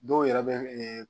Dɔw yɛrɛ bɛ